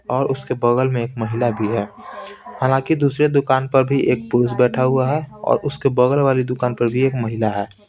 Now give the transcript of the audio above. और उसके बगल में एक महिला भी है हालांकि दूसरे दुकान पर भी एक पुरुष बैठा हुआ है और उसके बगल वाली दुकान पर भी एक महिला है।